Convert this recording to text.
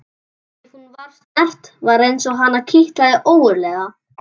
Ef hún var snert var eins og hana kitlaði ógurlega.